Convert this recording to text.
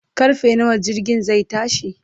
karfe nawa jirgin zai tashi?